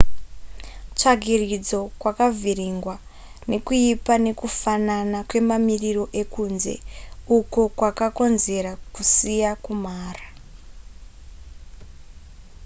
tsvagiridzo kwakavhiringwa nekuipa nekufanana kwemamiriro ekunze uko kwakakonzera kusiya kumhara